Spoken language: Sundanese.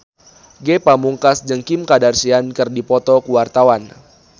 Ge Pamungkas jeung Kim Kardashian keur dipoto ku wartawan